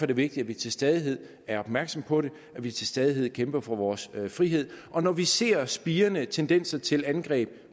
det vigtigt at vi til stadighed er opmærksomme på det at vi til stadighed kæmper for vores frihed når vi ser spirende tendenser til angreb